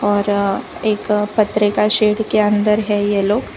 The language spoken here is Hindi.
और एक पटरे का शेड के अंदर है ये लोग।